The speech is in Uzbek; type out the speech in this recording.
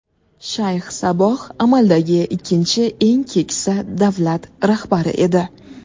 Shayx Saboh amaldagi ikkinchi eng keksa davlat rahbari edi.